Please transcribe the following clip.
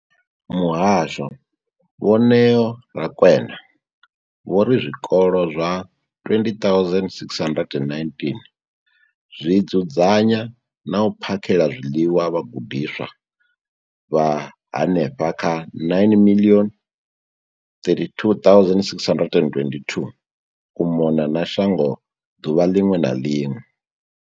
Muhasho, Vho Neo Rakwena, vho ri zwikolo zwa 20 619 zwi dzudzanya na u phakhela zwiḽiwa vhagudiswa vha henefha kha 9 032 622 u mona na shango ḓuvha ḽiṅwe na ḽiṅwe.